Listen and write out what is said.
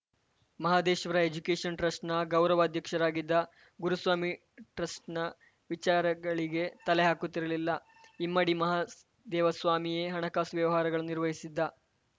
Mahadeshwara education ಟ್ರಸ್ಟ್‌ನ ಗೌರವ ಅಧ್ಯಕ್ಷರಾಗಿದ್ದ ಗುರುಸ್ವಾಮಿ ಟ್ರಸ್ಟ್‌ನ ವಿಚಾರಗಳಿಗೆ ತಲೆ ಹಾಕುತ್ತಿರಲಿಲ್ಲ ಇಮ್ಮಡಿ ಮಹದೇವಸ್ವಾಮಿಯೇ ಹಣಕಾಸು ವ್ಯವಹಾರಗಳನ್ನು ನಿರ್ವಹಿಸಿದ್ದ